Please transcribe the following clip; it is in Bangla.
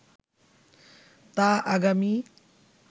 তা আগামী